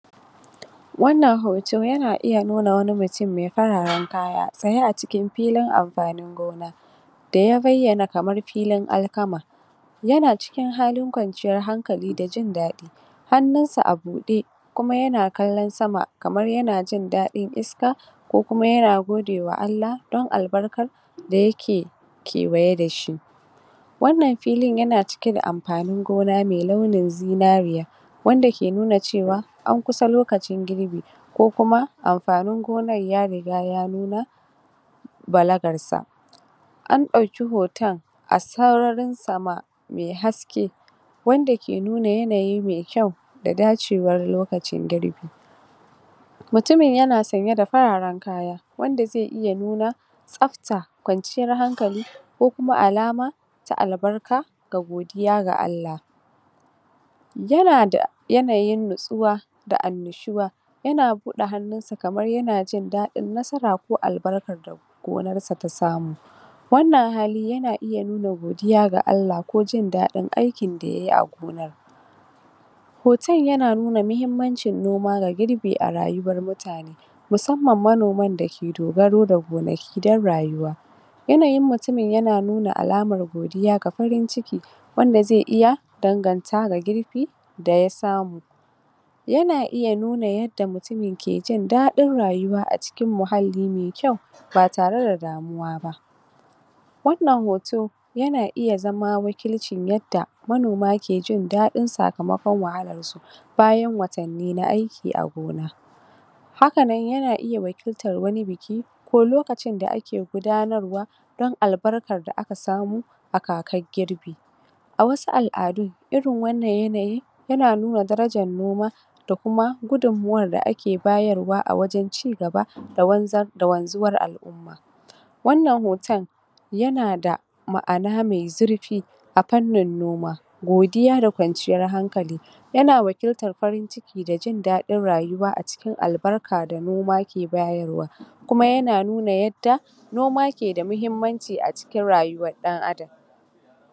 Wannan hoto yana iya nuna wani mutum mi fararen kaya tsaye a cikin gona, da ya bayyana kamar filin alkama. Yana cikin halin kwanciyar hankal;i da jin daɗi, hannunsa a buɗe kuma yana kallon sama kamar yana jin daɗin iska, ko kuma yana godewa Allah don albarkar da yake kewaye da shi. Wannan filin yana cike da amfanin gona mai ɗaunin zinariya, wanda ke nuna cewa an kus lokacin girbi ko kuma amfanin gonar ya riga ya nuna balagarsa. An ɗauki hotonn a sararin samaniya mai haske, wanda yake nuna yanayi mai kyau da dacewar lokacin girbi. Mutumin yana sanye da fararen kaya wanda zai iya nuna, tsabta, kwanciyar hankali, ko kuma alama, ta albarka, ga godiya ga Allah. Yana da yanayin natsuwa da annanshuwa, yana buɗe hannunsa kmar yana jin daɗin nasara, ko albarkar da gonarsa ta samu. Wannan hali yana iya nuna godiya ga Allah ko jin daɗin aikin da yayi a gonar. Hoton yana nuna muhimmancin noma da girbi a rayuwar mutane musamman m,anoman da ke dogaro da gonaki dfon rayuwa, yanayin mutumin yan nuna alamar godiya da farinciki, wanda zai iya danganta ga girbi, da ya samu. Yana iya nuna yadda mutumin yake jin daɗin rayuwa a muhalli mai kyau, ba tare da damuwa ba. Wannan hoto yana iya zama wakilcin yadda manoma, manoma ke jin daɗi sakamakon wahalarsu bayan watanni na aiki a gona. Hakanan yana iya wakilitar wani biki, ko lokacin da ake gudanarwa don albarkar da aka samu a kakar girbi. A wasu al'adun irin wannan yanayi, yana nuna darajar noma, da kuma gudunmawar da ake bayarwa a wurin ci gaba da wanzar, da wanzuwar al'umma. Wannan hoton, yana da, ma'ana mai zurfi, a fannin noma, godiya da kwanciyar hankali, yana wakiltar farin ciki da jindaɗin rayuwa a cikin albarkar da noma ke bayarwa, kuma yana nuna yadda noma ke da muhimmanci a cikin rayuwar ɗan adam.